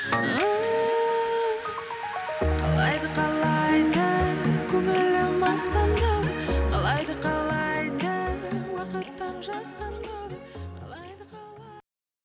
ііі қалайды қалайды көңілім аспандағы қалайды қалайды уақыттың